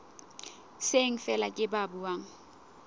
seng feela ke ba buang